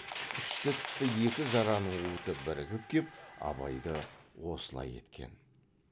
ішті тысты екі жараның уыты бірігіп кеп абайды осылай еткен